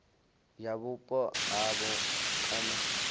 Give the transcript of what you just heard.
ya vhupo ha havho kana